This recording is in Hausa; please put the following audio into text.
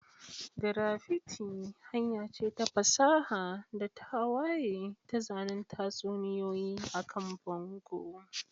Graffiti hanya ce ta fasaha da tawaye ta zanen tatsuniyoyi akan bango.